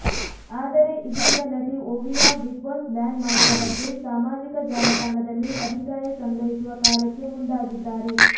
ಆದರೆ ಇದೀಗ ನಟಿ ಒವಿಯಾ ಬಿಗ್ ಬಾಸ್ ಬ್ಯಾನ್ ಮಾಡುವ ಬಗ್ಗೆ ಸಾಮಾಜಿಕ ಜಾಲತಾಣದಲ್ಲಿ ಅಭಿಪ್ರಾಯ ಸಂಗ್ರಹಿಸುವ ಕಾರ್ಯಕ್ಕೆ ಮುಂದಾಗಿದ್ದಾರೆ